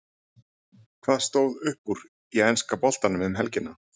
Hvað stóð upp úr í enska boltanum um helgina?